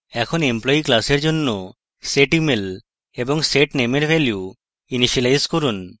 এখন employee class জন্য setemail এবং setname এর জন্য value ইনিসিয়েলাইজ করুন